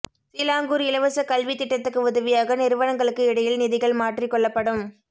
Selangor இலவசக் கல்வித் திட்டத்துக்கு உதவியாக நிறுவனங்களுக்கு இடையில் நிதிகள் மாற்றிக் கொள்ளப்படும்